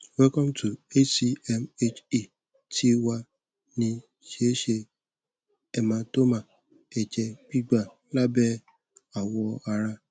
welcome to hcm he ti wa ni sese hematoma ẹjẹ gbigba labẹ awọ ara